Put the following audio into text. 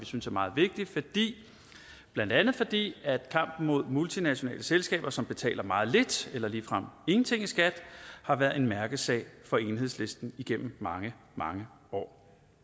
synes er meget vigtig blandt andet fordi kampen mod multinationale selskaber som betaler meget lidt eller ligefrem ingenting i skat har været en mærkesag for enhedslisten igennem mange mange år